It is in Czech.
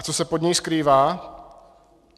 A co se pod ní skrývá?